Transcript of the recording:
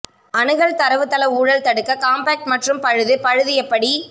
அணுகல் தரவுத்தள ஊழல் தடுக்க காம்பாக்ட் மற்றும் பழுது பழுது எப்படி